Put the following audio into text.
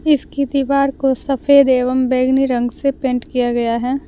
इसकी दीवार को सफेद एवं बैंगनी रंग से पेंट किया गया है।